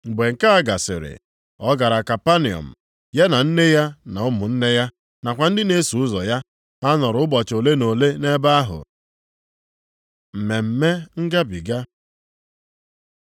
Mgbe nke a gasịrị, ọ gara Kapanọm, ya na nne ya na ụmụnne ya, nakwa ndị na-eso ụzọ ya. Ha nọrọ ụbọchị ole na ole nʼebe ahụ. Mmemme Ngabiga